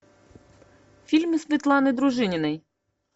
фильмы светланы дружининой